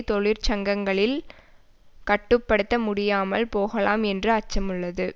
தொழிற்சங்கங்களில் கட்டு படுத்த முடியாமல் போகலாம் என்று அச்சமுள்ளது